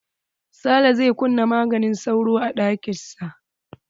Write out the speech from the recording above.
Sale zai kuna maganin sauro a ɗakin sa.